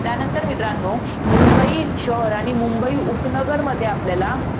त्यानंतर मित्रांनो, मुंबई शहर आणि मुंबई उपनगरमध्ये आपल्याला